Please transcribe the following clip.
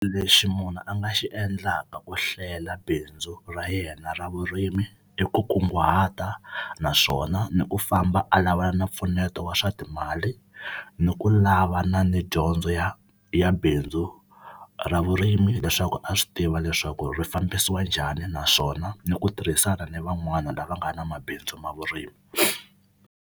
Lexi munhu a nga xi endlaka ku hlela bindzu ra yena ra vurimi i ku kunguhata naswona ni ku famba a lavana na mpfuneto wa swa timali ni ku lavana ni dyondzo ya ya bindzu ra vurimi leswaku a swi tiva leswaku ri fambisiwa njhani naswona ni ku tirhisana ni van'wana lava nga na mabindzu ma vurimi.